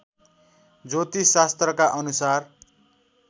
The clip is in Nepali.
ज्योतिष शास्त्रका अनुसार